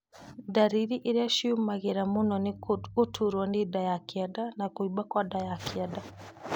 Ndariri irĩa ciĩumĩragia mũno nĩ gũturwo nĩ nda ya kĩanda na kũimba kwa nda ya kĩanda